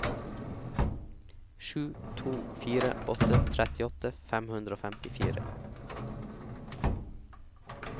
sju to fire åtte trettiåtte fem hundre og femtifire